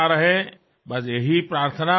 ఇదే నా ప్రార్థన